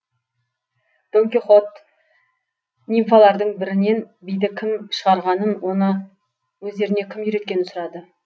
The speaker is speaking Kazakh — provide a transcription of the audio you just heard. дон кихот нимфалардың бірінен биді кім шығарғанын оны өздеріне кім үйреткенін сұрады